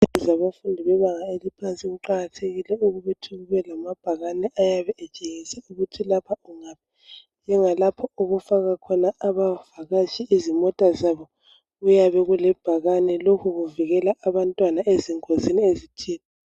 Ezikolo zabafundi bebanga elaphansi kuqakathekile ukuthi kube lamabhakane ayabe etshengisa ukuthi lapha kungaphi njengalapho okufakwa abavakatshi izimota zabo lokho kuvikela abantwana ezingozini.